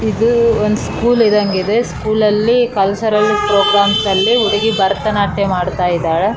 ಭರತನಾಟ್ಯ ಅನ್ನೋದು ಒಂದು ಒಳ್ಳೆ ಕಲೆ ಅದು. ಅದು ಆಗಿನ ಕಾಲದಿಂದನ್ನು ಅ ಒಳ್ಳೆ ಕಲೆಯಾಗಿ ಐತೆ ಮತ್ತೆ ಈಗ್ಲೂ ಆ ಕಾಲೇನ ಮುಂದ ವರ್ಸ್ಕೊಂಡ್ ಹೋಗಿದಾರೆ.